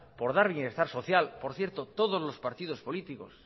por dar bienestar social por cierto todos los partidos políticos